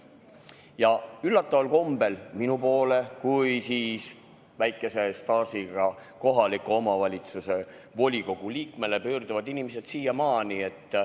Ja üllataval kombel minu poole, väikese staažiga kohaliku omavalitsuse volikogu liikme poole, pöörduvad inimesed siiamaani.